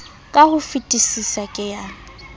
ka ho fetesisa ke ya